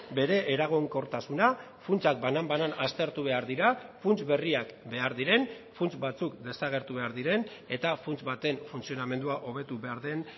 bere eraginkortasuna funtsak banan banan aztertu behar dira funts berriak behar diren funts batzuk desagertu behar diren eta funts baten funtzionamendua hobetu behar den